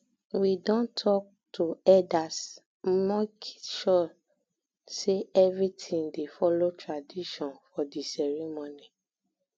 we um don talk to elders make sure um say everything dey follow tradition for di ceremony